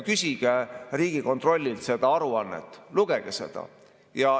Küsige Riigikontrollilt seda aruannet, lugege seda.